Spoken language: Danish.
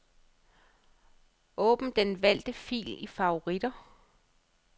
Åbn den valgte fil i favoritter.